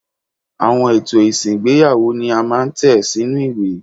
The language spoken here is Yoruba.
Àwọn ètò ìsìn ìgbéyàwó ni a máa ń tẹ̀ sínú ìwé.